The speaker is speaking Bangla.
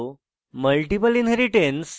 multiple inheritance